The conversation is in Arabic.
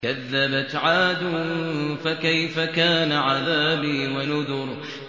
كَذَّبَتْ عَادٌ فَكَيْفَ كَانَ عَذَابِي وَنُذُرِ